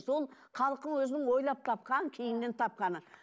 ол халықтың өзінің ойлап тапқан кейіннен тапқаны